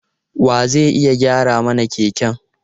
Wa zai iya gyara mana keken?